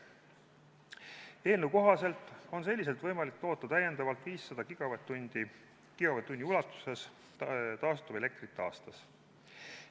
Eelnõu kohaselt on selliselt võimalik toota täiendavalt 500 gigavatt-tunni ulatuses taastuvelektrit aastas.